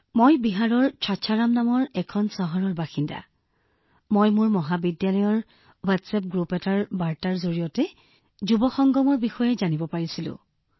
বিশাখা জীঃ মই বিহাৰৰ চাচাৰাম চহৰৰ বাসিন্দা আৰু মই প্ৰথমে মোৰ কলেজ হোৱাটছএপ গ্ৰুপৰ এটা বাৰ্তাৰ জৰিয়তে যুৱ সংগমৰ বিষয়ে জানিব পাৰিছিলো